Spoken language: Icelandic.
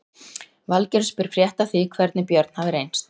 Valgerður spyr frétta af því hvernig Björn hafi reynst.